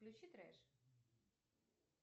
включи трэш